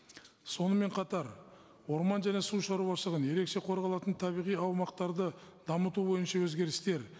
сонымен қатар орман және су шаруашылығын ерекше қорғалатын табиғи аумақтарды дамыту бойынша өзгерістер